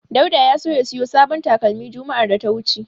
Dauda ya so ya siyo sabon talakmi juma'ar da ta wuce.